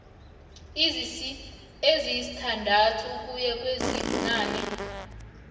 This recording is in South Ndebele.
ezisithandathu ukuya kwezibunane